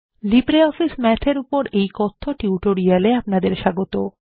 LibreOffice Math এর উপর এই কথ্য টিউটোরিয়াল এ আপনাদের স্বাগত